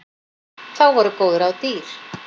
Þá voru góð ráð dýr.